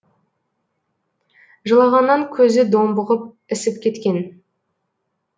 жылағаннан көзі домбығып ісіп кеткен